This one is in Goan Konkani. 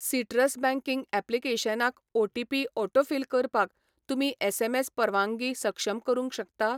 सिटरस् बँकिंग ऍप्लिकेशनाक ओटीपी ऑटोफिल करपाक तुमी एसएमएस परवांगी सक्षम करूंक शकता?